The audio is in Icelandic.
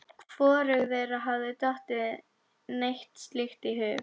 Hvorugu þeirra hafði dottið neitt slíkt í hug.